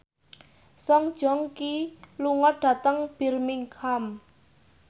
Song Joong Ki lunga dhateng Birmingham